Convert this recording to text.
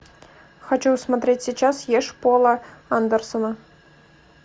хочу смотреть сейчас ешь пола андерсона